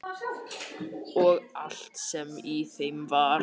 Og allt sem í þeim var.